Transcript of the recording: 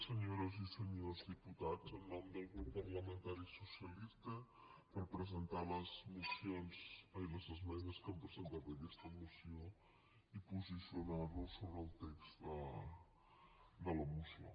senyores i senyors diputats en nom del grup parlamentari socialista per presentar les esmenes que hem presentat a aquesta moció i posicionar nos sobre el text de la moció